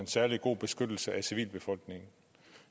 en særlig god beskyttelse af civilbefolkningen